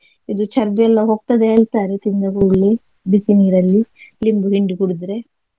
ಇದು ಚರ್ಬಿ ಎಲ್ಲ ಹೋಗ್ತದೆ ಹೇಳ್ತಾರೆ ತಿಂದ ಕೂಡ್ಲೆ ಬಿಸಿ ನೀರಲ್ಲಿ ಲಿಂಬು ಹಿಂಡಿ ಕುಡ್ದ್ರೆ.